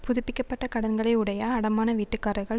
புதுப்பிக்க பட்ட கடன்களை உடைய அடமான வீட்டுக்காரர்கள்